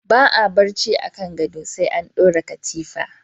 Ba a barci akan gado sai an dora katifa.